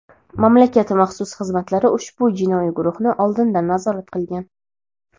mamlakat maxsus xizmatlari ushbu jinoiy guruhni oldindan nazorat qilgan.